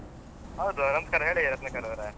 ಹೌದು ನಮಸ್ಕಾರ, ಹೇಳಿ ರತ್ನಾಕರ್ ಅವರೇ.